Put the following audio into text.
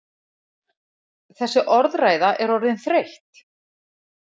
Þessi orðræða er orðin þreytt!